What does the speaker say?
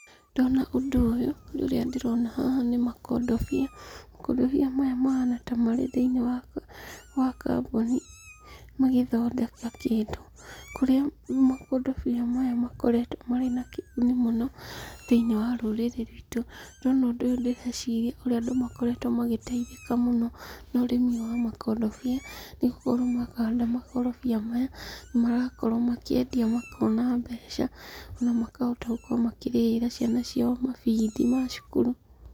Ndona ũndũ ũyũ, ũrĩa ndĩrona haha nĩmakondobia, makondobia maya mahana tamarĩ thĩinĩ wa kambuni magĩthondeka kĩndũ, kũrĩa makondobia maya makoretwo marĩ na kĩguni mũno thĩiniĩ wa rũrĩrĩ ruitũ. Ndona ũndũ ũyũ ndĩreciria ũrĩa andũ makoretwo magĩtaithĩka mũno na ũrĩmi ũyũ wa makondobia, nĩgũkorwo mahanda makondobia maya, marakorwo makĩendia makona mbeca, na makahota gũkorwo makĩrĩhĩra ciana ciao mabithi ma cukuru.